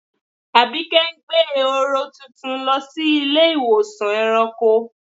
Àbíké ń gbẹ̀ è̩hórò tuntun lọ sí ilẹ̀-ìwọsàn ẹ̀ràǹkò.